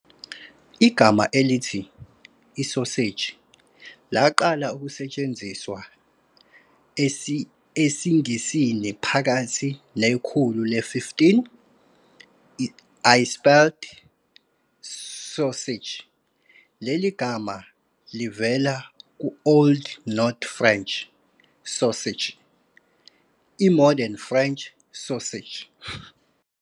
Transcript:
Igama elithi "isoseji" laqala ukusetshenziswa esiNgisini phakathi nekhulu le-15, i-spelled "sawsyge."Leli gama livela ku-Old North French "saussiche", i-Modern French "saucisse".